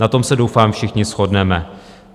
Na tom se doufám všichni shodneme.